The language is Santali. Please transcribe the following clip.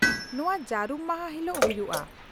-ᱱᱚᱶᱟ ᱡᱟᱹᱨᱩᱢ ᱢᱟᱦᱟ ᱦᱤᱞᱳᱜ ᱦᱩᱭᱩᱜᱼᱟ ?